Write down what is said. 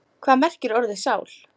Hvað merkir orðið sál?